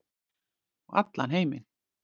Og allan heiminn.